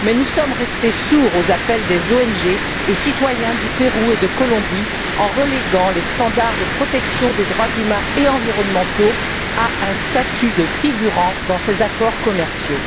Mais nous sommes restés sourds aux appels des ONG et des citoyens du Pérou et de la Colombie en reléguant les standards de protection des droits humains et environnementaux à un statut de figurant dans ces accords commerciaux.